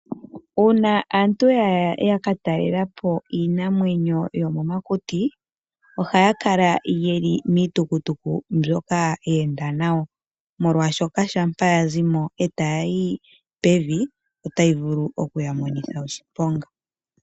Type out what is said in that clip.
Uuna aantu ya ka talelapo iinamwenyo yomomakuti ohaa kala ye li miitukutuku mbyoka ya enda nayo, molwaashoka ngele oya zimo eta ya yi pevi otayi vulu oku ya monitha oshiponga.